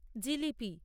jalebi